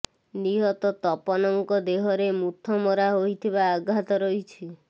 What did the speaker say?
ନିହତ ତପନଙ୍କ ଦେହରେ ମୁଥ ମରା ହୋଇଥିବା ଆଘାତ ରହିଛି